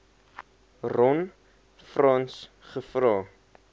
ron frans gevra